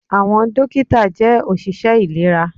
Àwọn dókítà jẹ́ òṣìṣẹ́ ìlera